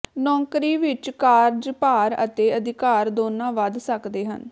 ਨੌਕਰੀ ਵਿੱਚ ਕਾਰਜਭਾਰ ਅਤੇ ਅਧਿਕਾਰ ਦੋਨਾਂ ਵੱਧ ਸੱਕਦੇ ਹਨ